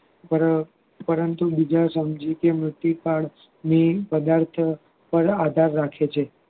પર પરંતુ બીજા સમજુતીય પ્રદાર્થ પર આધાર રાખે છે